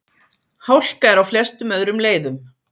Hálka er á flestum öðrum leiðum